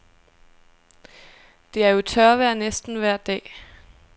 Det er jo tørvejr næsten vejr dag.